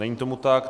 Není tomu tak.